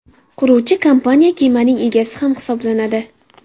Quruvchi kompaniya kemaning egasi ham hisoblanadi.